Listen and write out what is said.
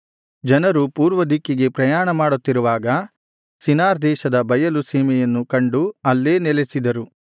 ಜನರು ಪೂರ್ವ ದಿಕ್ಕಿಗೆ ಪ್ರಯಾಣಮಾಡುತ್ತಿರುವಾಗ ಶಿನಾರ್ ದೇಶದ ಬಯಲು ಸೀಮೆಯನ್ನು ಕಂಡು ಅಲ್ಲೇ ನೆಲೆಸಿದರು